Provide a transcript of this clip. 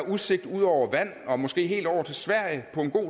udsigt ud over vand og måske helt over til sverige på en god